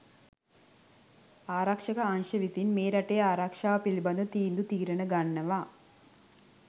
ආරක්ෂක අංශ විසින් මේ රටේ ආරක්ෂාව පිළිබඳ තීන්දු තීරණ ගන්නවා.